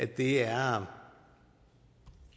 det er